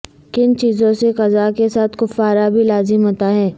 کن چیزوں سے قضاء کے ساتھ کفارہ بھی لازم ہوتا ہے